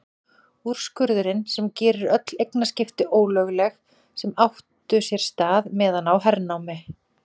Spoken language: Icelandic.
Úrskurðinn sem gerir öll eignaskipti ólögleg sem áttu sér stað meðan á hernámi